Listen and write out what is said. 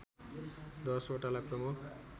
१० वटालाई प्रमुख